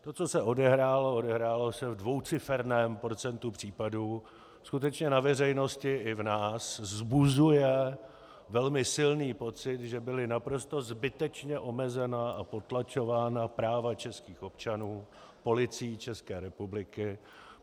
To, co se odehrálo, odehrálo se ve dvouciferném procentu případů, skutečně na veřejnosti i v nás vzbuzuje velmi silný pocit, že byla naprosto zbytečně omezena a potlačována práva českých občanů Policií České republiky.